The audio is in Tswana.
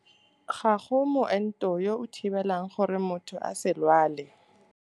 Ga go moento yo o thibelang gore motho a se lwale.